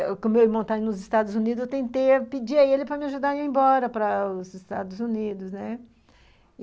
Como o meu irmão está nos Estados Unidos, eu tentei pedir a ele para me ajudar a ir embora para os Estados Unidos, né.